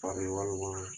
walima